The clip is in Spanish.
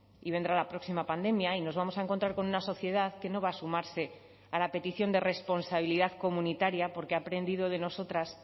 y vendrá la próxima pandemia y nos vamos a encontrar con una sociedad que no va a sumarse a la petición de responsabilidad comunitaria porque ha aprendido de nosotras